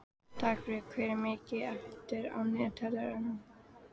Dagfríður, hvað er mikið eftir af niðurteljaranum?